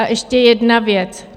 A ještě jedna věc.